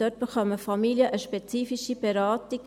Dort erhalten Familien eine spezifische Beratung.